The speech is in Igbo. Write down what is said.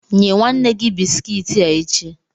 Nye nwanne gi bisikiiti a echi.